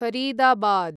Faridabad